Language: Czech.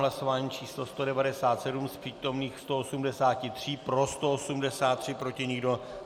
Hlasování číslo 197, z přítomných 183, pro 183, proti nikdo.